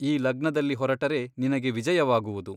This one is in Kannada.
ಈ ಲಗ್ನದಲ್ಲಿ ಹೊರಟರೆ ನಿನಗೆ ವಿಜಯವಾಗುವುದು.